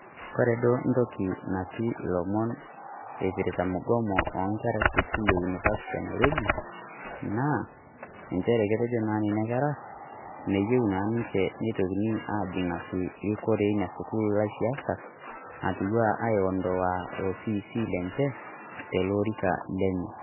Kore doo ntoki natii ilomon oipirta mugomo oonkerra esukuul e univasti e Nirobi, naa encheere etejoo naa nenia nkerra meiyeu naa ninchee neitokini ajing'aki rikoore enia sukuul laisiasak atua aiondoa lo fc lenchee to lorikaa lenye.